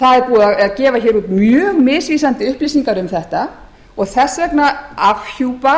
það er búið að gefa út mjög misvísandi upplýsingar um þetta og þess vegna afhjúpa